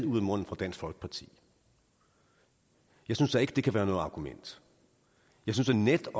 ud af munden på dansk folkeparti jeg synes da ikke det kan være noget argument jeg synes da netop